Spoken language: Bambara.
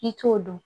I t'o dɔn